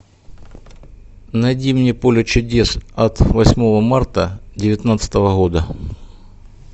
найди мне поле чудес от восьмого марта девятнадцатого года